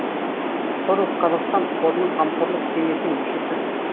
сорос қазақстан қорының қамқорлық кеңесінің мүшесі